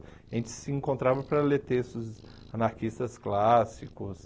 A gente se encontrava para ler textos anarquistas clássicos,